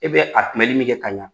E bɛ a kunbɛli min kɛ ka ɲa